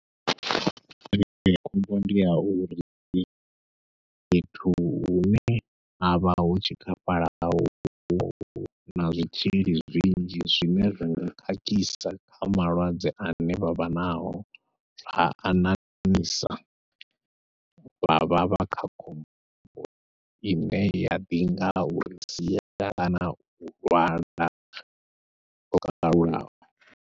khombo ndi ya uri fhethu hune havha ho tshikafhalaho na zwitzhili zwinzhi zwine zwa nga khakhisa kha malwadze ane vha vha nao, ha a ṋaṋisa vha vha vha kha khombo ine ya ḓinga uri sia kana u lwala lwo kalulaho.